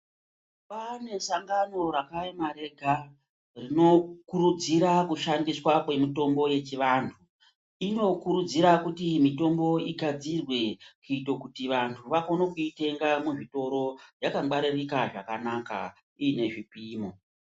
Kwaane sangano rakaema rega rinokurudzira kushandiswa kwemitombo yechivantu. Inokurudzira kuti mitombo igadzirwe kuite kuti vantu vakone kuitenga muzvitoro yakangwaririka zvakanaka inezvipimo.